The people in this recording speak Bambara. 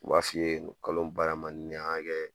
U b'a f'i ye kalo baara man di ne yen an ga kɛ